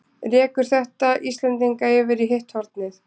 Rekur þetta Íslendinga yfir í hitt hornið?